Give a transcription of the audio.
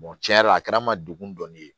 tiɲɛ yɛrɛ la a kɛra n ma degun dɔ ye